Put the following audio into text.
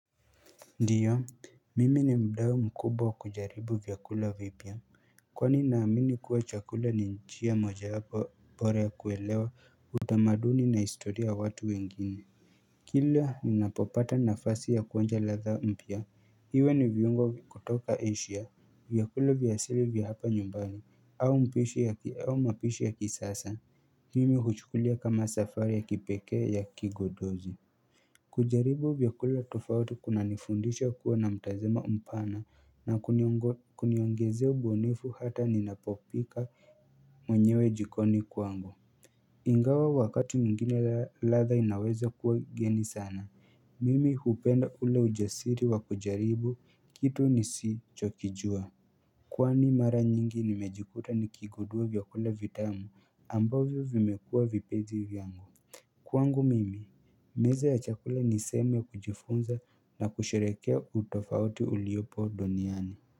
Ndio mimi ni mdao mkubwa kujaribu vyakula vipya Kwani naamini kuwa chakula ni njia mojawapo bora ya kuelewa utamaduni na istoria watu wengine Kila ni napopata na fasi ya kuonja la dha mpya iwe ni viungwa kutoka asia vyakula vyasili vya hapa nyumbani au mpishi ya ki au mapishi ya kisasa Mimi huchukulia kama safari ya kipekee ya kigodozi kujaribu vyakula tofauti kuna nifundisha kuwa na mtazamo mpana na kuniongo kuniongezea ubunifu hata ninapopika mwenyewe jikoni kwangu Ingawa wakati mwingine ladha inaweza kuwa geni sana, mimi hupenda ule ujasiri wa kujaribu kitu nisi chokijua Kwani mara nyingi nimejikuta nikigudua vyakula vitamu ambavyo vimekua vipezi vyangu Kwangu mimi, meza ya chakula ni seme kujifunza na kusherekea utofauti uliopo duniani.